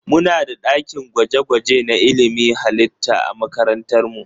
Muna da ɗakin gwaje-gwaje na ilimin halitta a makarantar mu.